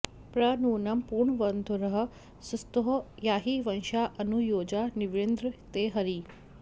प्र नूनं पूर्णवन्धुरः स्तुतो याहि वशाँ अनु योजा न्विन्द्र ते हरी